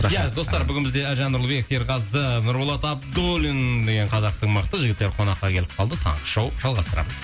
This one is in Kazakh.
ия достар бүгін бізде әлжан нұрлыбек серғазы нұрболат абдуллин деген қазақтың мықты жігіттері қонаққа келіп калды таңғы шоу жалғастырамыз